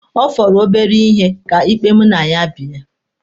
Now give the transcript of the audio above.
Ọ fọrọ obere ihe ka ikpe mụ na ya bie.